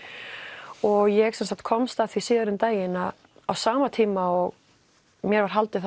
og ég komst að því síðar um daginn að á sama tíma og mér var haldið